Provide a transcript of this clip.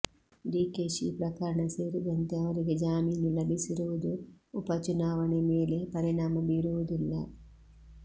ಡಿಕೆಶಿ ಪ್ರಕರಣ ಸೇರಿದಂತೆ ಅವರಿಗೆ ಜಾಮೀನು ಲಭಿಸಿರುವುದು ಉಪಚುನಾವಣೆ ಮೇಲೆ ಪರಿಣಾಮ ಬೀರುವುದಿಲ್ಲ